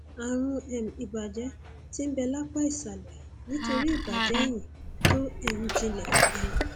ààrùn um ìbàjẹ tí ń bẹ lápá ìsàlẹ nítorí ìbàjẹ eyín tó um jinlẹ um